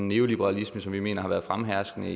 neoliberalisme som vi mener har været fremherskende